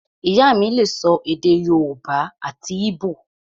Ìyá mí lè sọ èdè yóòbá àti íbò